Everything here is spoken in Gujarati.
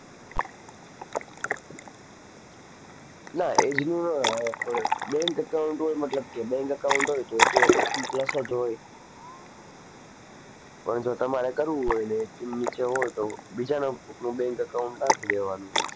ના age નું ન આવે પણ bank account હોય મતલબ કે bank account હોય તો એ તો eighteen plus જ હોય પણ જો તમારે કરવું હોય ને eighteen નીચે હોય તો બીજાના કોઈકનું bank account નાખી દેવાનું.